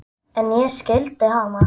En ég skildi hana.